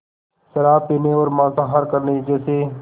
शराब पीने और मांसाहार करने जैसे